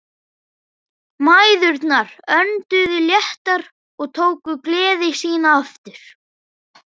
Mæðurnar önduðu léttar og tóku gleði sína aftur.